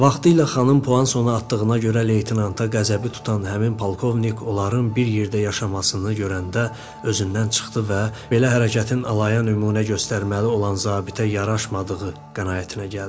Vaxtilə xanım Puansonu atdığına görə leytenanta qəzəbi tutan həmin polkovnik onların bir yerdə yaşamasını görəndə özündən çıxdı və belə hərəkətin alaya nümunə göstərməli olan zabitə yaraşmadığı qənaətinə gəldi.